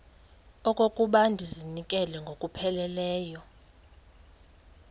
okokuba ndizinikele ngokupheleleyo